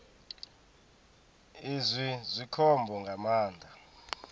izwi zwi khombo nga maanḓa